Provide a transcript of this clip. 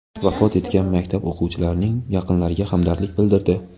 vafot etgan maktab o‘quvchilarining yaqinlariga hamdardlik bildirdi.